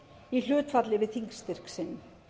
í hlutfalli við þingstyrk sinn